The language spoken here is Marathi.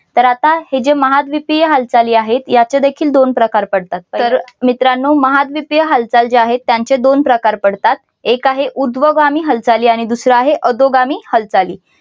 तर आता हे जे महाद्वीपीय हालचाली आहे यांचादेखील दोन प्रकार पडतात तर मित्रांनो महाद्वीपीय हालचाल जे आहेत त्यांचे दोन प्रकार पडतात. एक आहे उध्वगामी हालचाली आणि अधोगामी हालचाली